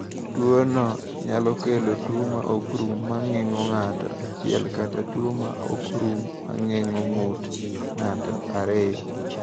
"Tuwono nyalo kelo tuwo ma ok rum ma geng’o ng’ato achiel kata tuwo ma ok rum ma geng’o ng’ut ng’ato ariyo."